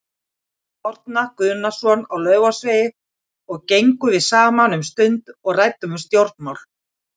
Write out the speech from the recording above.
Árna Guðnason á Laufásvegi og gengum við saman um stund og ræddum um stjórnmál.